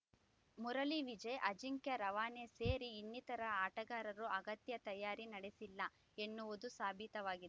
ಮುರಳಿ ವಿಜಯ್‌ ಅಜಿಂಕ್ಯ ರವಾನೆ ಸೇರಿ ಇನ್ನತಿರ ಆಟಗಾರರು ಅಗತ್ಯ ತಯಾರಿ ನಡೆಸಿಲ್ಲ ಎನ್ನುವುದು ಸಾಬೀತವಾಗಿ